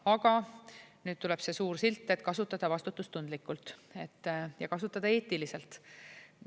Aga nüüd tuleb see suur silt, et kasutada vastutustundlikult ja kasutada eetiliselt.